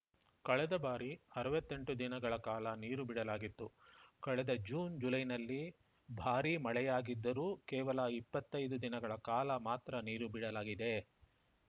ಕಳೆದ ಬಾರಿ ಅರವತ್ತೆಂಟು ದಿನಗಳ ಕಾಲ ನೀರು ಬಿಡಲಾಗಿತ್ತು ಕಳೆದ ಜೂನ್‌ ಜುಲೈನಲ್ಲಿ ಭಾರೀ ಮಳೆಯಾಗಿದ್ದರೂ ಕೇವಲ ಇಪ್ಪತ್ತೈದು ದಿನಗಳ ಕಾಲ ಮಾತ್ರ ನೀರು ಬಿಡಲಾಗಿದೆ